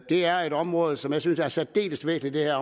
er et område som jeg synes er særdeles væsentligt at